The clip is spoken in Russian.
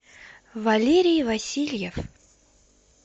валерий васильев